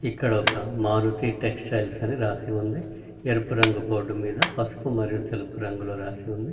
ఇక్కడ ఒక మారుతి టెక్సటైల్స్ అని రాసి ఉంది ఎరుపు రంగు బోర్డు మీద పసుపు మరియు తెలుపు రంగు లో రాసి ఉంది.